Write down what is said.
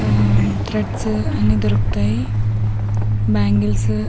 ఆ త్రెడ్స్ అన్నీ దొరుకుతాయి బ్యాంగిల్స్ --